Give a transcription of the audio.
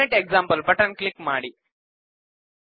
format example button click ಮಾಡಿ